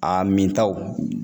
Aa mintaw